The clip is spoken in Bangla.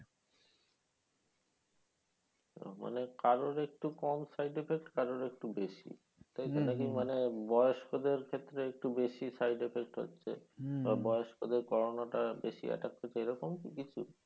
মানে কারো ও একটু কম side effect কারো ও একটু বেশি তাইতো নাকি মানে বয়স্কদের ক্ষেত্রে একটু বেশি side effect হচ্ছে বা বয়স্কদের corona বেশি attack করছে এরকম কি কিছু